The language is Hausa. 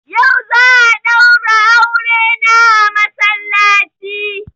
Yau za a daura auren na masallaci